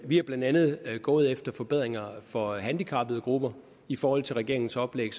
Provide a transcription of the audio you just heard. vi er blandt andet gået efter forbedringer for handicappede grupper i forhold til regeringens oplæg